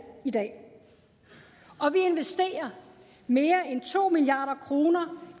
i dag og vi investerer mere end to milliard kroner